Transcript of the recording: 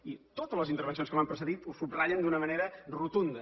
i totes les intervencions que m’han precedit ho subratllen d’una manera rotunda